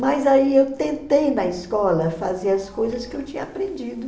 Mas aí eu tentei na escola fazer as coisas que eu tinha aprendido.